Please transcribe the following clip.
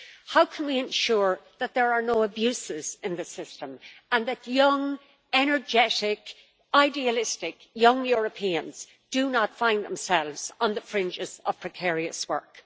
How can we ensure that there are no abuses in the system and that young, energetic, idealistic young Europeans do not find themselves on the fringes of precarious work?